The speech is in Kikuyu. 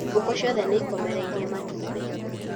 Ngũkũ ciothe ni ikomereirie matũmbĩ